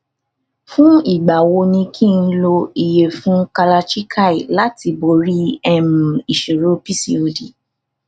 fún ìgbà wo ni kí n lo iyefun kalachikai láti borí um ìṣòro pcod